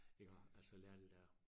Iggår altså lære det dér